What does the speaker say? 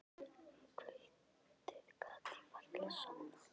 Um kvöldið gat ég varla sofnað.